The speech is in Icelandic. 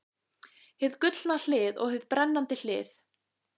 Hið gullna hlið og hið brennandi hlið.